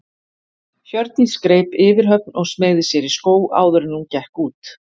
Hjördís greip yfirhöfn og smeygði sér í skó áður en hún gekk út.